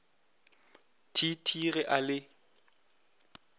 t t ge a le